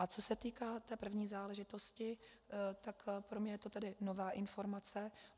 A co se týká té první záležitosti, tak pro mě je to tedy nová informace.